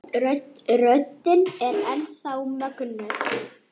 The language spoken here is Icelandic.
Röddin er enn þá mögnuð.